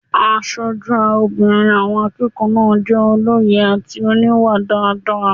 Aṣojú obìnrin àwọn akẹ́kọ̀ọ́ náà jẹ́ olóye àti oníwà dáadáa